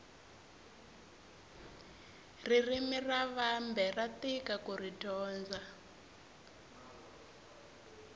ririmi ra vambe ra tika kuri dyondza